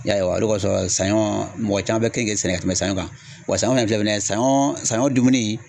Ya ye wa , o de kosɔn , saɲɔ mɔgɔ caman be keninke ka tɛmɛ sɲɔn kan, wa saɲɔ in filɛ nin ye saɲɔ saɲɔn dumuni